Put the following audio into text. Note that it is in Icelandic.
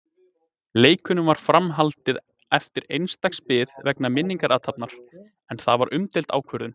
Leikunum var fram haldið eftir eins dags bið vegna minningarathafnar, en það var umdeild ákvörðun.